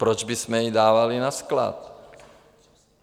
Proč bychom ji dávali na sklad?